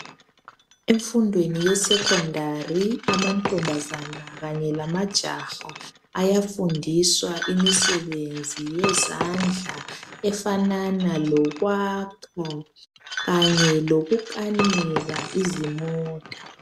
Emfundweni ye-secondary amantombazana kanye lamajaha ayafindiswa imisebenzi yezandla efanana lokwakha kanye lokukanika izimota.